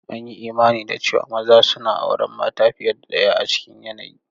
An yi imani da cewa maza suna auren mata fiye da ɗaya a cikin yanayi.